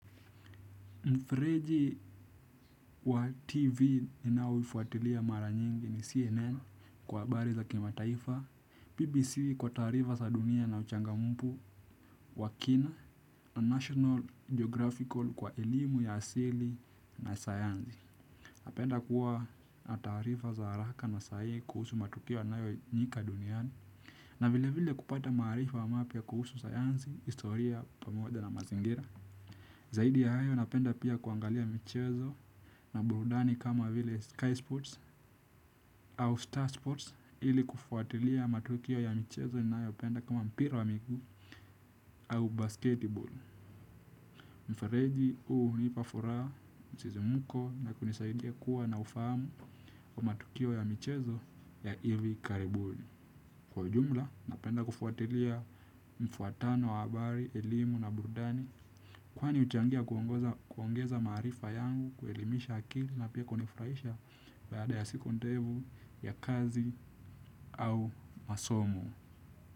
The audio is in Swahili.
Mfreji wa TV ninao ufautilia mara nyingi ni CNN kwa habariza kima taifa BBC kwa tarifa za dunia na uchanga mmfu wa kina National Geographical kwa elimu ya asili na sayansi. Napenda kuwa na taarifa za haraka na sahihi kuhusu matukio yanayo fanyika duniani. Na vile vile kupata maarifa wa mapya kuhusu sayansi, historia pamoja na mazingira. Zaidi ya hayo napenda pia kuangalia michezo. Na burudani kama vile Sky Sports au Star Sports ili kufuatilia matukio ya michezo na yopenda kama mpira wa miguu au Basketball. Mfereji hunipafuraha msisimko na kunisaidia kuwa na ufahamu kwa matukio ya michezo ya ivi karibuni. Kwa jumla napenda kufuatilia mfuatano wa habari, elimu na burudani kwani uchangia kuongeza maarifa yangu kuelimisha akili na pia konifurahisha baada ya siku ndefu ya kazi au masomo.